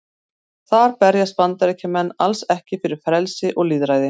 Þar berjast Bandaríkjamenn alls ekki fyrir frelsi og lýðræði.